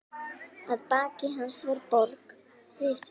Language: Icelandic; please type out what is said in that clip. Að baki hans var borg risin.